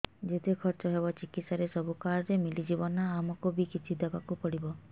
ଯେତେ ଖର୍ଚ ହେବ ଚିକିତ୍ସା ରେ ସବୁ କାର୍ଡ ରେ ମିଳିଯିବ ନା ଆମକୁ ବି କିଛି ଦବାକୁ ପଡିବ